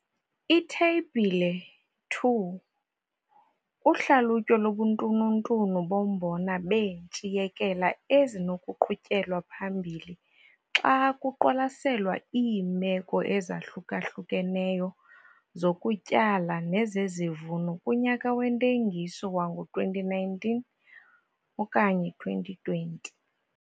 Itheyibhile 2- Uhlalutyo lobuntununtunu bombona beentshiyekela ezinokuqhutyelwa phambili xa kuqwalaselwa iimeko ezahluka-hlukeneyo zokutyala nezezivuno kunyaka wentengiso wango-2019, 2020.